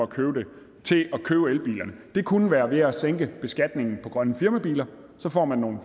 købe dem det kunne være ved at sænke beskatningen på grønne firmabiler så får man nogle